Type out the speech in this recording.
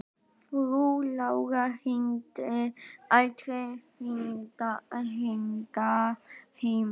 Frú Lára hringdi aldrei hingað heim.